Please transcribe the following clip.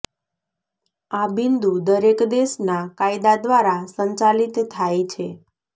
આ બિંદુ દરેક દેશના કાયદા દ્વારા સંચાલિત થાય છે